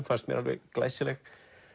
fannst mér glæsileg